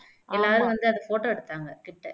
எல்லாரும் வந்து அத photo எடுத்தாங்க கிட்ட